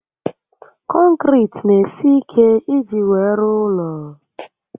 Konkiriti n'esi ike iji wee rụọ ụlọ